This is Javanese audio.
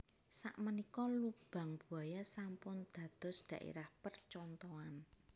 Sak menika Lubang Buaya sampun dados daerah percontohan